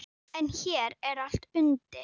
En hér er allt undir.